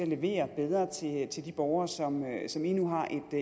levere bedre til de borgere som som i nu har